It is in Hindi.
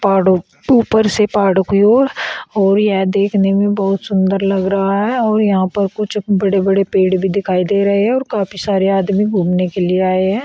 और ऊपर से पहाड़ों की ओर और यह देखने में बहुत सुंदर लग रहा है और यहां पर कुछ बड़े बड़े पेड़ भी दिखाई दे रहे हैं और काफी सारे आदमी घूमने के लिए आए हैं।